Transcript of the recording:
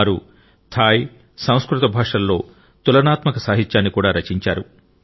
వారు థాయ్ సంస్కృత భాషలలో తులనాత్మక సాహిత్యాన్ని కూడా రచించారు